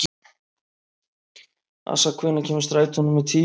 Assa, hvenær kemur strætó númer tíu?